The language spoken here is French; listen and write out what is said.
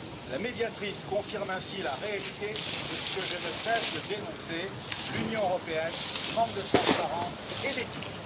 La Médiatrice confirme ainsi la réalité de ce que je ne cesse de dénoncer l'Union européenne manque de transparence et d'éthique.